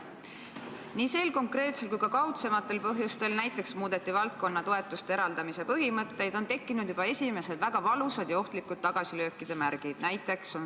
Nii sel konkreetsel kui ka kaudsematel põhjustel on tekkinud juba esimesed väga valusad ja ohtlikud tagasilöökide märgid.